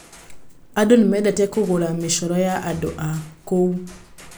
Ageni nĩ mendete kũgũra mĩcoro ya andũ a kũu.